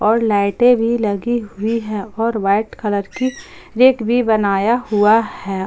और लाइटे भी लगी हुई है और वाइट कलर की रैक भी बनाया हुआ है।